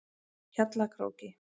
Hjallakróki